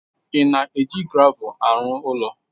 Ị na-eji gravel arụ ụlọ?